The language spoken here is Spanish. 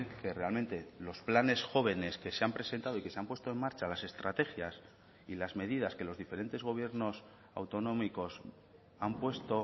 que realmente los planes jóvenes que se han presentado y que se han puesto en marcha las estrategias y las medidas que los diferentes gobiernos autonómicos han puesto